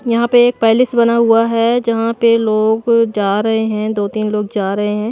यहां पे एक पैलेस बना हुआ है जहां पे लोग जा रहे हैं दो-तीन लोग जा रहे हैं।